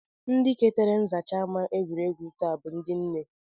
Ndị ketara nzacha ama egwuregwu taa bụ ndị nne